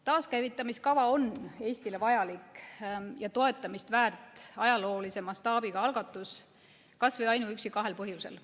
Taaskäivitamiskava on Eestile vajalik ja toetamist väärt ajaloolise mastaabiga algatus, kas või ainuüksi kahel põhjusel.